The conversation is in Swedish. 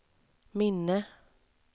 minne